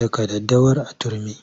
Daka daddawar a turmi!